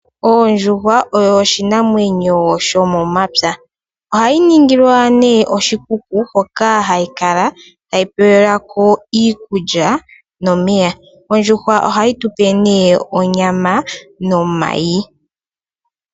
Ondjuhwa oyo oshinamwenyo shomomapya. Ohayi ningilwa oshikuku mpoka hayi kala tayi pewelwako iikulya nomeya. Ondjuhwa ohayi tupe onyama nomayi.